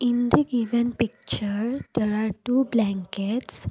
In the given picture there are two blankets.